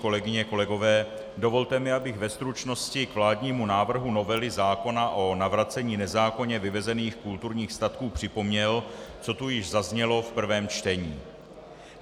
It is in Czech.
Kolegyně, kolegové, dovolte mi, abych ve stručnosti k vládnímu návrhu novely zákona o navracení nezákonně vyvezených kulturních statků připomněl, co tu již zaznělo v prvém čtení.